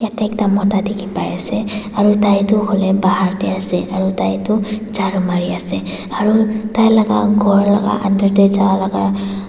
yate ekta mota dikhi pai ase aru tai tu hoile bahar teh ase aru tai tu jharu mari ase aru tai laga ghor laga under teh ja laga--